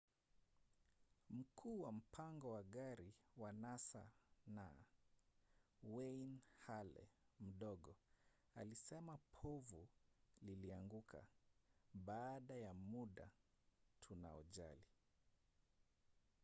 mkuu wa mpango wa gari wa nasa n. wayne halle mdogo alisema povu lilianguka baada ya muda tunaojali.